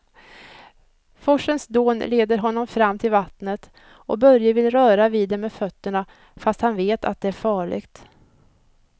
Forsens dån leder honom fram till vattnet och Börje vill röra vid det med fötterna, fast han vet att det är farligt.